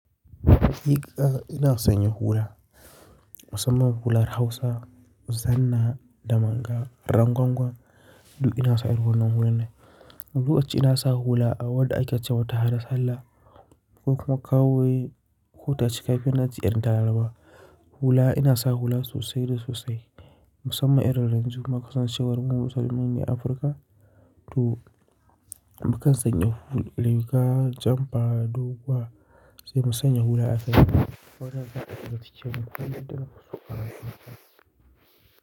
Haqiqa ina sanya hula, musamman hular Hausa, zanna da mangal, rangwangwan. Du ina sa irin wannan hula ne. Wani lokaci ina sa hula a wadda ake cewa ta hada sallah ko kuma kawai ko tashi kai fiye da na ji yan daraba. Hula ina sa hula sosai da sosai musamman irin rinjuma kusan shekarun hudu salamin ne Afirka. To, mukan sanya hula, janba, doguwa sai mu sanya hula aka yi.